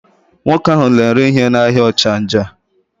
Nwoke ahụ na-ere ihe n'ahịa Ọchanja.